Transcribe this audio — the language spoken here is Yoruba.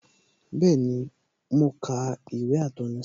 Bẹẹni, mo ka ìwé atọ́ni sọ́nà